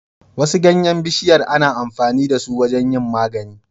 Wasu ganyan bishiyar ana amfani dasu wajan yin magani